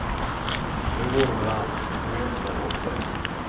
Nu går det väl an, men på vintern är det hopplöst.